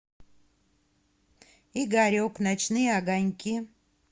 игорек ночные огоньки